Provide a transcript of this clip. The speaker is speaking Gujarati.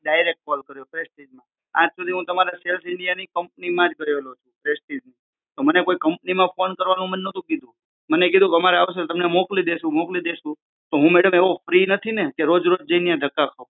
ડાયરેક્ટ કોલ કરું પ્રેસ્ટીજ માં આજ સુધી હુ તમારી સેલ્સ ઇન્ડિયા ની કંપની માં જ ગયેલો છું પ્રેસ્ટીજ ની તો મને કોઈ કંપની માં કોલ કરવાનું મને નોતું કીધું મને કીધું અમારે આવશે તો તમને મોકલી દઈશું મોકલી દેશું પણ હુ મેડમ એવો ફ્રી નથી ને કે રોજ રોજ જઈ ને ત્યાં ધક્કા ખાઉં